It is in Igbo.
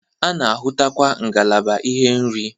A na-ahụtakwa ngalaba ihe oriri.